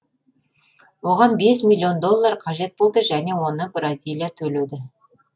оған бес миллион доллар қажет болды және оны бразилия төледі